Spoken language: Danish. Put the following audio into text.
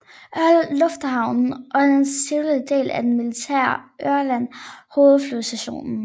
Ørland Lufthavn er den civile del af den militære Ørland Hovedflyvestation